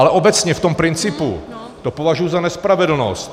Ale obecně v tom principu to považuju za nespravedlnost.